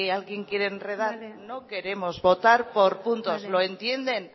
alguien quiere enredar no queremos votar por puntos lo entienden